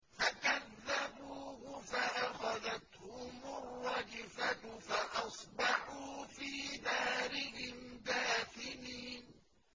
فَكَذَّبُوهُ فَأَخَذَتْهُمُ الرَّجْفَةُ فَأَصْبَحُوا فِي دَارِهِمْ جَاثِمِينَ